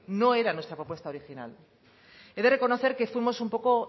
no era nuestra propuesta original he de reconocer que fuimos un poco